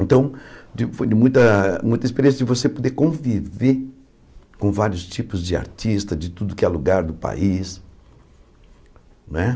Então, digo foi de muita muita experiência de você poder conviver com vários tipos de artista, de tudo que é lugar do país né.